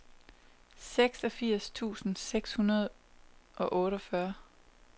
seksogfirs tusind seks hundrede og otteogfyrre